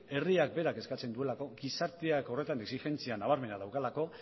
herriak berak eskatzen duelako gizarteak horretan exigentzia nabarmena daukalako